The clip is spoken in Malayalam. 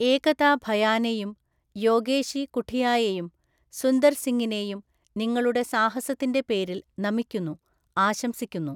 ഏകതാ ഭയാനെയും യോഗേശി കുഠിയായെയും സുന്ദർ സിംഗിനെയും നിങ്ങളുടെ സാഹസത്തിന്റെ പേരില്‍ നമിക്കുന്നു, ആശംസിക്കുന്നു.